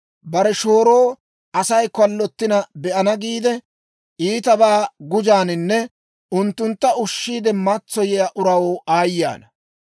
«Bare shooro Asay kallottina be'ana giide, iitabaa gujaaninne unttuntta ushshiide matsoyiyaa uraw aayye ana!